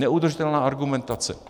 Neudržitelná argumentace.